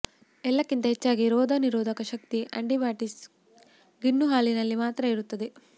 ಎಲ್ಲಕ್ಕಿಂತ ಹೆಚ್ಚಾಗಿ ರೋಗ ನಿರೋಧಕ ಶಕ್ತಿ ಅಂಟಿಬಾಡೀಸ್ ಗಿಣ್ಣು ಹಾಲಿನಲ್ಲಿ ಮಾತ್ರ ಇರುತ್ತದೆ